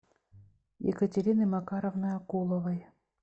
екатерины макаровны акуловой